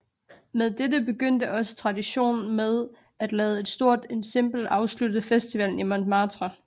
Med dette begyndte også traditionen med at lade et stort ensemble afslutte festivalen i Montmartre